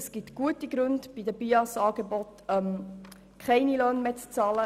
Es gibt gute Gründe, bei den BIAS-Angeboten keine Löhne mehr zu bezahlen.